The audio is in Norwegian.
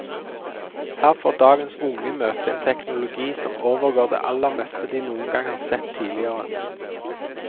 Her får dagens unge møte en teknologi som overgår det aller meste de noen gang har sett tidligere.